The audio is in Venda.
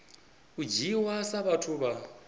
u dzhiiwa sa vhathu vha